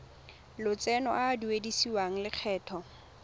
lotseno a a duedisiwang lokgetho